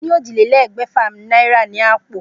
Mo ní ójìlélégbèfà náírà ni àpò